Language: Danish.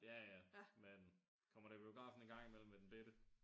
Ja ja men kommer da i biografen en gang i mellem med den bette